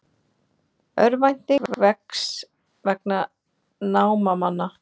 Örvænting vex vegna námamanna